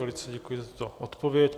Velice děkuji za tuto odpověď.